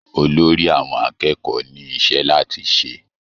Olórí àwọn akẹ́kọ̀ọ́ ní iṣẹ́ láti ṣe